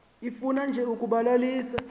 ifuna nje ukubalalisa